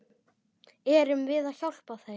Erum við að hjálpa þeim?